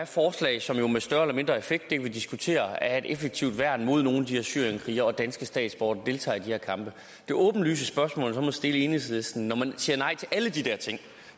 forslag som jo med større eller mindre effekt det kan vi diskutere er et effektivt værn mod nogle af de her syrienskrigerne og danske statsborgere der deltager i de her kampe det åbenlyse spørgsmål jeg så må stille enhedslisten når man siger nej til alle de der ting